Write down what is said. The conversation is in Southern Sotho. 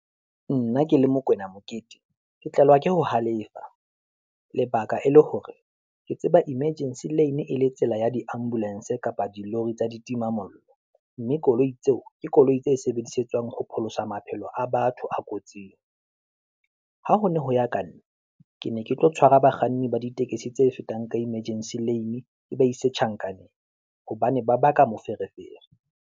Nna ke le Mokwena Mokete ke tlelwa ke ho halefa, lebaka e le hore ke tseba emergency lane e le tsela ya di ambulance kapa di lori tsa ditimamollo, mme koloi tseo ke koloi tse sebedisetswang ho pholosa maphelo a batho a kotsing. Ha ho ne ho ya ka nna, ke ne ke tlo tshwara bakganni ba ditekesi tse fetang ka emergency lane, ke ba ise tjhankaneng hobane ba baka moferefere.